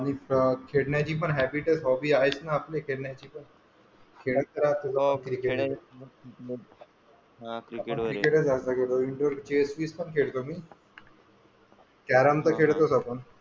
आणि खेळण्याची पण हॉबी हॅबिट आहेच ना आपली हा क्रिकेट वैगेरे. किंवा इनडोअर चेस वैगेरे पण खेळतो मी कॅरम तर खेळतोच.